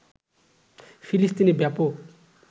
ফিলিস্তিনে ব্যাপক